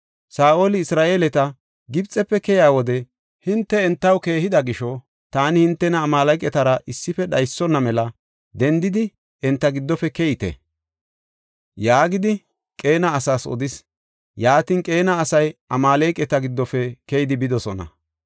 Saa7oli, “Isra7eeleti Gibxefe keyiya wode hinte entaw keehida gisho taani hintena Amaaleqatara issife dhaysona mela dendidi enta giddofe keyite” yaagidi Qeena asaas odis. Yaatin Qeena asay Amaaleqata giddofe keyidi bidosona.